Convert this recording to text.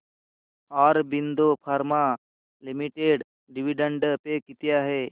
Aurobindo pharma limited dividend pay किती आहे